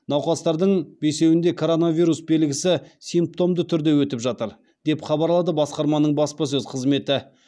науқастардың бесеуінде коронавирус белгісі симптомды түрде өтіп жатыр деп хабарлады басқарманың баспасөз қызметі